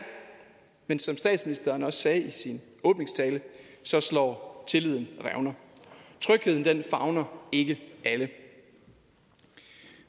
men som statsministeren også sagde i sin åbningstale slår tilliden revner trygheden favner ikke alle